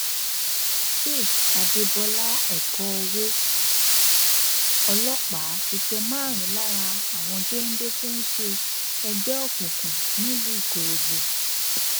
faith adébọlá ẹkọ owó ọlọpá ti tẹ márùnún lára àwọn géńdé tó ń ṣe ẹgbẹ òkùnkùn nílùú ikorógbó